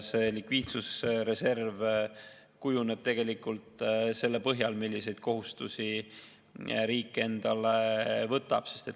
Likviidsusreserv kujuneb tegelikult selle põhjal, milliseid kohustusi riik endale võtab.